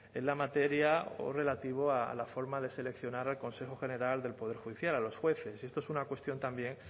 en la materia o relativo a la forma de seleccionar al consejo general del poder judicial a los jueces y esto es una cuestión también